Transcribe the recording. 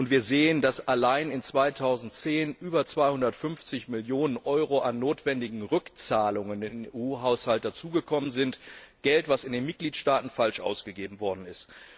Und wir sehen, dass allein im Jahr 2010 über 250 Millionen Euro an notwendigen Rückzahlungen im EU Haushalt dazugekommen sind Gelder, die in den Mitgliedstaaten falsch ausgegeben worden sind.